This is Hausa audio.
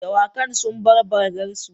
Dawakan sun bar bargarsu.